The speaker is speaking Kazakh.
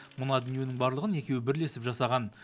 мына дүниенің барлығын екеуі бірлесіп жасаған